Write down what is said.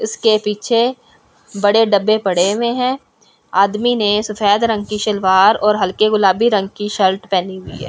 इसके पीछे बड़े डब्बे पड़े हुए हैं आदमी ने सफेद रंग की शलवार और हल्के गुलाबी रंग की शल्ट पहनी हुई है।